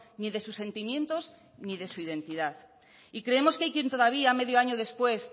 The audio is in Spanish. ni de sus sentimientos ni de su identidad y creemos que hay quien todavía medio año después